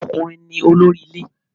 Àwọn ọkùnrin ní olórí ilé